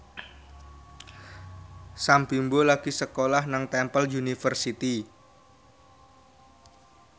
Sam Bimbo lagi sekolah nang Temple University